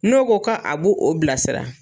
N'o ko ka a b'o o bilasira